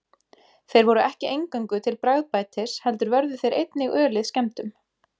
Þeir voru ekki eingöngu til bragðbætis heldur vörðu þeir einnig ölið skemmdum.